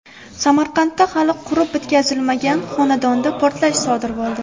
Samarqandda hali qurib bitkazilmagan xonadonda portlash sodir bo‘ldi.